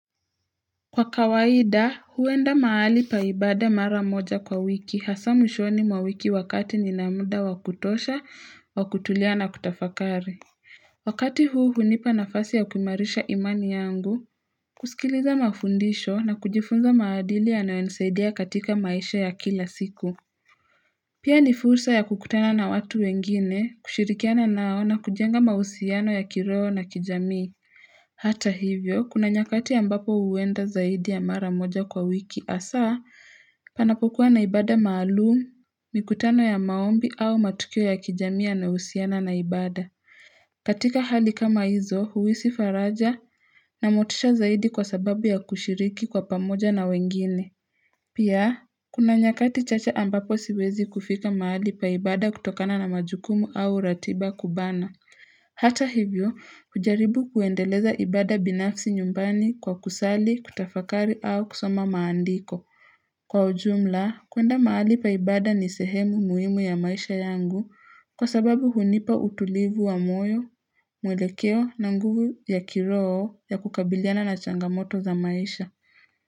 Kwa kawaida huenda mahali pa ibada mara moja kwa wiki hasa mwishoni mwa wiki wakati nina muda wakutosha wa kutulia na kutafakari wakati huu hunipa nafasi ya kuimarisha imani yangu kusikiliza mafundisho na kujifunza maadili yanayo nisaidia katika maisha ya kila siku pia ni fursa ya kukutana na watu wengine kushirikiana nao na kujenga mahusiano ya kiroho na kijamii hata hivyo kuna nyakati ambapo huenda zaidi ya mara moja kwa wiki hasaa panapokuwa na ibada maalumu mikutano ya maombi au matukio ya kijami yanayohusiana na ibada katika hali kama hizo huhisi faraja na motisha zaidi kwa sababu ya kushiriki kwa pamoja na wengine pia kuna nyakati chacha ambapo siwezi kufika mahali pa ibada kutokana na majukumu au ratiba kubana Hata hivyo, hujaribu kuendeleza ibada binafsi nyumbani kwa kusali, kutafakari au kusoma maandiko. Kwa ujumla, kuenda mahali pa ibada ni sehemu muhimu ya maisha yangu kwa sababu hunipa utulivu wa moyo, mwelekeo na nguvu ya kiroho ya kukabiliana na changamoto za maisha.